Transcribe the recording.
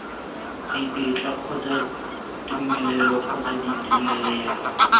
ditetla kgotsa tumelelo kgotsa ditumelelo